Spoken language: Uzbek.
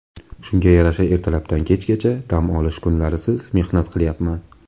Shunga yarasha ertalabdan kechgacha, dam olish kunlarisiz mehnat qilayapman.